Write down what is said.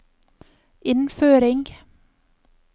innføring